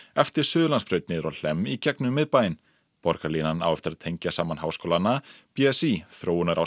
eftir Suðurlandsbraut niður á Hlemm í gegnum miðbæinn borgarlínan á eftir að tengja saman háskólana b s í